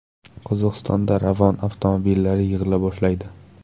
Qozog‘istonda Ravon avtomobillari yig‘ila boshlaydi.